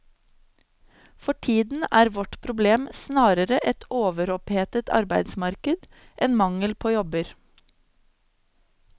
For tiden er vårt problem snarere et overopphetet arbeidsmarked enn mangel på jobber.